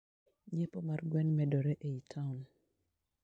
nyiepo mar gwn medore eiy taon.